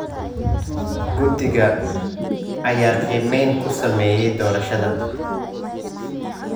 Guddiga ayaa qiimeyn ku sameeyay doorashada.